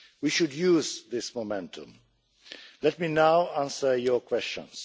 We should use this momentum. Let me now answer your questions.